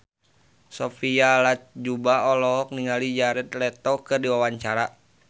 Sophia Latjuba olohok ningali Jared Leto keur diwawancara